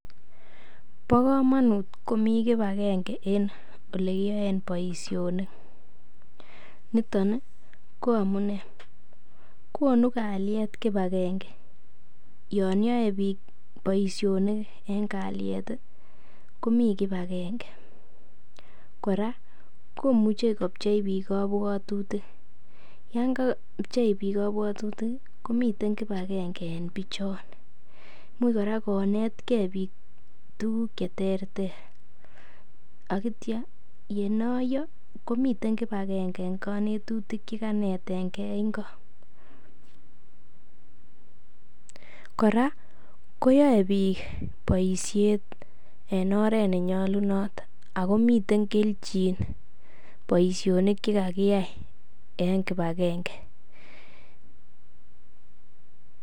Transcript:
Bo komonut komi kipagenge en ole kiyoen boisionik niton ko amune; konu kalyet kipagenge, yon yoe biik boisiet komi kipagenge, kora komuche kopchei biiik kobwotutik, yon kapchei biik kobwotutik komiten kipagenge en bichon. IMuch kora konetke biik tuguk che terter ak kityo ye noiyo komiten kipagenge en konetutik che kanetenge ingo. Kora koyae biik boisiet en oret nenyolunot ago miten kelchin boisionikche kagiyai en kipagenge.